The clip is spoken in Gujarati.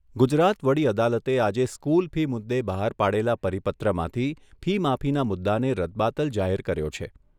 ગુજરાત વડી અદાલતે આજે સ્કૂલ ફી મુદ્દે બહાર પાડેલા પરિપત્રમાંથી ફી માફીના મુદ્દાને રદબાતલ જાહેર કર્યો છે.